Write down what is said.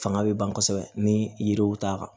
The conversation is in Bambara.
Fanga bɛ ban kosɛbɛ ni yiriw t'a kan